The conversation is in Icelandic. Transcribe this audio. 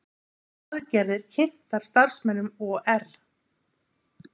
Aðgerðir kynntar starfsmönnum OR